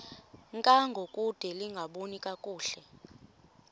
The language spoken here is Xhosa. ngangokude lingaboni kakuhle